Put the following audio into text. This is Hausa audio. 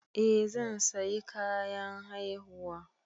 Eh zan sayi kayan haihuwa.